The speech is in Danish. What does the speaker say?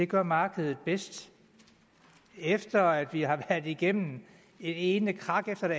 gør markedet bedst efter at vi har været igennem det ene krak efter det